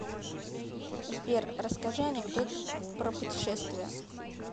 сбер расскажи анекдот про путешествия